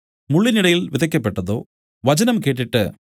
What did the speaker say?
മുള്ളിനിടയിൽ വിതയ്ക്കപ്പെട്ടതോ വചനം കേട്ടിട്ട്